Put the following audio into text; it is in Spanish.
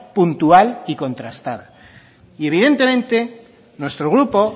puntual y contrastada y evidentemente nuestro grupo